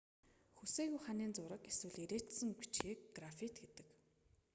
хүсээгүй ханын зураг эсвэл эрээчсэн бичгийг граффит гэдэг